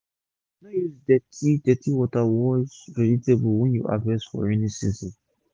no use dirty use dirty water take wash vegetable wey u harvest for raining season